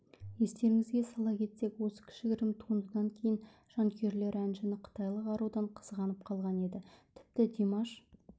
естеріңізге сала кетсек осы кішігірім туындыдан кейін жанкүйерлері әншіні қытайлық арудан қызғанып қалған еді тіпті димаш